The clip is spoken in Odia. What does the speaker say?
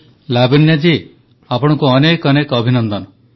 ପ୍ରଧାନମନ୍ତ୍ରୀ ଲାବଣ୍ୟାଜୀ ଆପଣଙ୍କୁ ଅନେକ ଅନେକ ଅଭିନନ୍ଦନ